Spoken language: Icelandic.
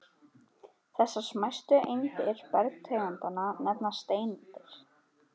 Þessar smæstu eindir bergtegundanna nefnast steindir.